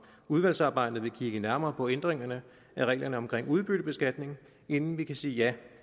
udvalgsarbejdet vil kigge nærmere på ændringerne af reglerne omkring udbyttebeskatning inden vi kan sige ja